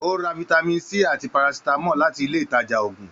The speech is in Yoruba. O rà fitami C àti Parasitamọ láti ilé ìtàjà òògùn.